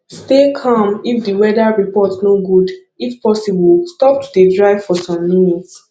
stay calm if di weather report no good if possible stop to dey drive for some minutes